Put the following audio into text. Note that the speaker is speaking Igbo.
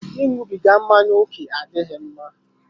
Ịṅụbiga mmáñyá oke adịghị mma